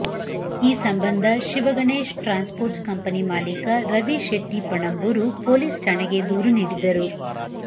ಈ ಸಂಬಂಧ Shivaganesh transport company ಮಾಲೀಕ ರವಿ ಶೆಟ್ಟಿ ಪಣಂಬೂರು ಪೊಲೀಸ್ ಠಾಣೆಗೆ ದೂರು ನೀಡಿದ್ದರು